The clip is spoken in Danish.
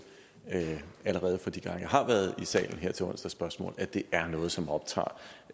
allerede fra de gange jeg har været i salen her til onsdagsspørgsmål at det er noget som optager